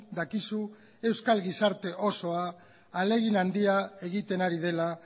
dakizu euskal gizarte osoa ahalegin handia egiten ari dela